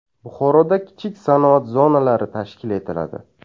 Buxoroda kichik sanoat zonalari tashkil etiladi.